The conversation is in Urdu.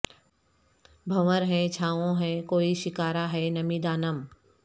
بھنور ہے چھاوں ہے کوئی شکارا ہے نمی دانم